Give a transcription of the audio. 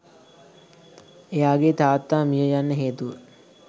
එයාගේ තාත්තා මිය යන්න හේතුව